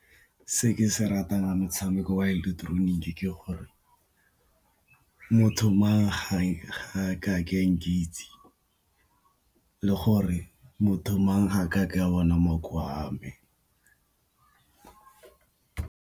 Se ke se ratang motshameko wa ileketeroniki ke gore motho mang ga ka ke nkitse, le gore motho mang ga akake bona makoa a me.